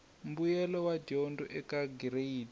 mbuyelo wa dyondzo eka gireyidi